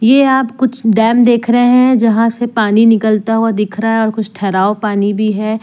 ये आप कुछ डैम देख रहे हैं जहां से पानी निकलता हुआ दिख रहा है और कुछ ठहराव पानी भी है।